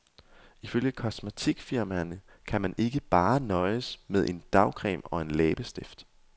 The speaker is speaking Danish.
Ifølge kosmetikfirmaerne kan man ikke bare nøjes med en dagcreme og en læbestift.